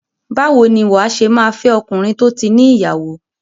Báwo ni wà á ṣe máa fẹ́ ọkùnrin tó ti ní ìyàwó?